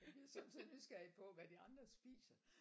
Jeg er sommetider nysgerrig på hvad de andre spiser